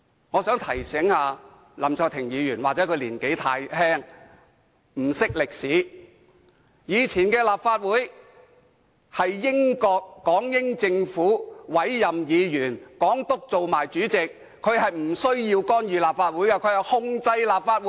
我想提醒林議員，也許他年紀太輕，不懂歷史，以前的立法局是由港英政府委任議員，由港督兼任主席，港督不用干預立法局，而是控制立法局。